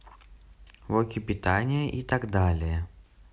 блоки питания и так далее